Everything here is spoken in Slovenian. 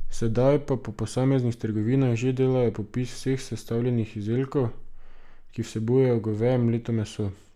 Sedaj pa po posameznih trgovinah že delajo popis vseh sestavljenih izdelkov, ki vsebujejo goveje mleto meso.